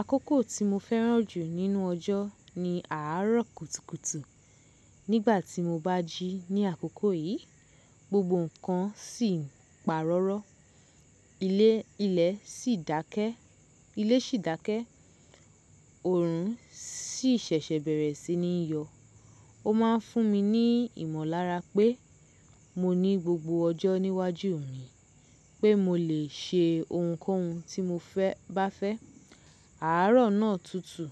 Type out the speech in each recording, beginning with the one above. Àkókò tí mo fẹ́ràn jù nínú ọjọ́ ni àárọ̀ kùtùkùtù. Nígbà tí mo bá jí ní àkókò yìí, gbogbo nǹkan sì ń pa rọ́rọ́, ilé sì dákẹ́, ọrùn sì ṣẹ̀ṣẹ̀ bẹ̀rẹ̀ sí ní yọ. Ó máa ń fún mi ní ìmọ̀lára pé mo ní gbogbo ọjọ́ níwájú mi pé mo lè ṣe ohunkóhun tí mo fe bá fẹ́. Àárọ̀ náà tutù,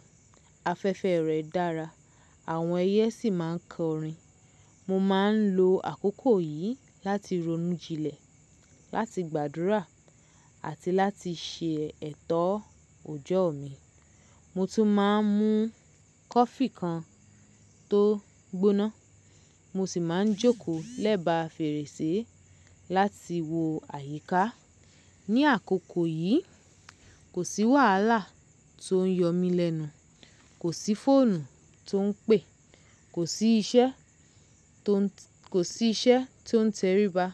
afẹ́fẹ́ rẹ̀ dára, àwọn ẹyẹ sì máa ń kọrin. Mo máa ń lo àkókò yìí láti ronú jinlẹ̀, láti gbàdúrà àti láti ṣe ẹ̀tọ́ òjọ́ mi. Mo tún máa ń mú kọfí kan tó gbóná, mo sì máa ń jókòó lẹ́bàá fèrèsé láti wo àyíká. Ni àkókò yìí, kò sí wàhálà tó ń yọ mí lẹ́nu, kò sí fóònù tó ń pè, kò sí iṣẹ́ tó ń tẹríba.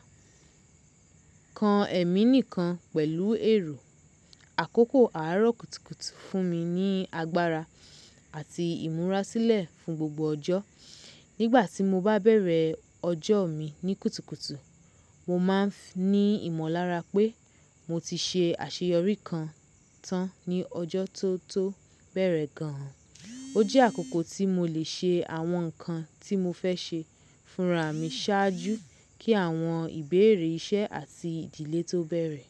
Kan ẹ̀mí nìkan pẹ̀lú èrò. Àkókò àárọ̀ kùtùkùtù fún mi ní agbára àti ìmúrasílẹ̀ fún gbogbo ọjọ́. Nígbà tí mo bá bẹ̀rẹ̀ ọjọ́ mi ní kùtùkùtù, mo máa ń ní ìmọ̀lára pé mo ti ṣe àṣeyọrí kan tán ní ọjọ́ tó tó bẹ̀rẹ̀ gan-an. Ó jẹ́ àkókò tí mo lè ṣe àwọn nǹkan tí mo fẹ́ ṣe, fúnraà mi ṣáájú kí àwọn ìbéèrè iṣẹ́ àti ìdílé tó bẹ̀rẹ̀.